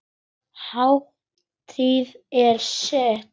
Hátíðin er sett.